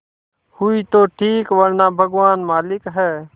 हुई तो ठीक वरना भगवान मालिक है